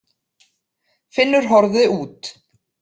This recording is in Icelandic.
Finnur horfði út.